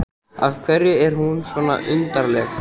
Af hverju er hún svona undarleg?